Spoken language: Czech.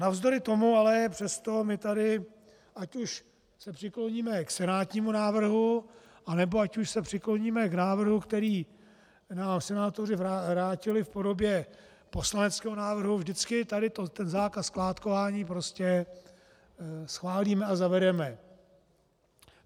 Navzdory tomu ale přesto my tady, ať už se přikloníme k senátnímu návrhu, anebo ať už se přikloníme k návrhu, který nám senátoři vrátili v podobě poslaneckého návrhu, vždycky tady ten zákaz skládkování prostě schválíme a zavedeme.